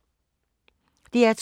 DR2